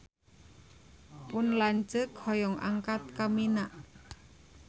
Pun lanceuk hoyong angkat ka Mina